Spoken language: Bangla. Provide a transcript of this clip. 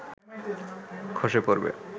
খসে পড়বে